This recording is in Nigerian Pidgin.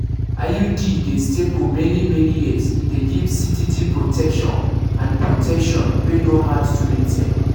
iud dey stay for many-many years e dey give steady protection and protection wey no hard to maintain